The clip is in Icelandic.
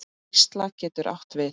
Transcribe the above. Hrísla getur átt við